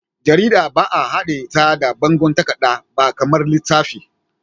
Jarida ba'a haɗe ta da bangon takarda ba kamar littafi.